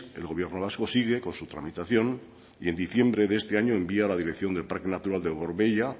el gobierno vasco sigue con su tramitación y en diciembre de este año envía a la dirección del parque natural de gorbeia